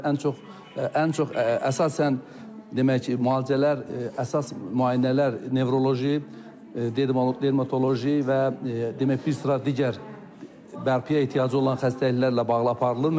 Ən çox, ən çox əsasən demək, müalicələr, əsas müayinələr nevroloji, dermatoloji və demək, bir sıra digər bərpaya ehtiyacı olan xəstəliklərlə bağlı aparılır.